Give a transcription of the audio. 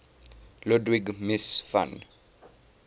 ludwig mies van